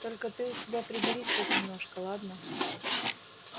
только ты у себя приберись хоть немножко ладно